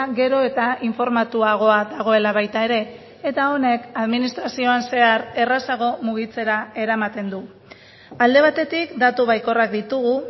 gero eta informatuagoa dagoela baita ere eta honek administrazioan zehar errazago mugitzera eramaten du alde batetik datu baikorrak ditugu